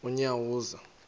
unyawuza